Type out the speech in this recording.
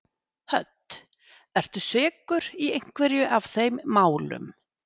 Hödd: Ertu sekur í einhverju af þeim málum?